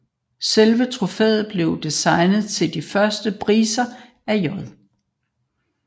Selve trofæet blev designet til de første priser af J